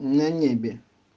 на небе